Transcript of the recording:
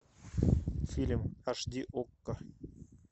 фильм аш ди окко